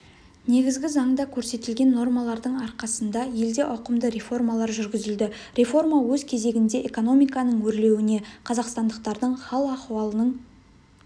негізгі заңда көрсетілген нормалардың арқасында елде ауқымды реформалар жүргізілді реформа өз кезегінде экономиканың өрлеуіне қазақстандықтардың хал-ахуалының